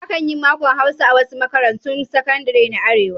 Akan yi makon Hausa a wasu makarantun sakadare na Arewa.